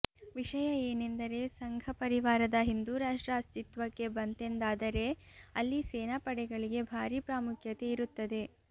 ವಿಷಯ ಏನೆಂದರೆ ಸಂಘ ಪರಿವಾರದ ಹಿಂದೂರಾಷ್ಟ್ರ ಅಸ್ತಿತ್ವಕ್ಕೆ ಬಂತೆಂದಾದರೆ ಅಲ್ಲಿ ಸೇನಾಪಡೆಗಳಿಗೆ ಭಾರೀ ಪ್ರಾಮುಖ್ಯತೆ ಇರುತ್ತದೆ